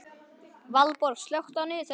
Valborg, slökktu á niðurteljaranum.